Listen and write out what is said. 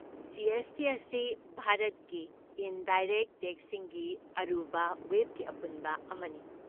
G. S. T. ꯑꯁꯤ ꯚꯥꯔꯠꯀꯤ indirect ꯇꯦꯛꯁꯁꯤꯡꯒꯤ ꯑꯔꯨꯕ ꯋꯦꯕꯀꯤ ꯑꯄꯨꯟꯕ ꯑꯃꯅꯤ꯫